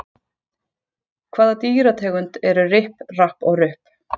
Hvaða dýrategund eru Ripp, Rapp og Rupp?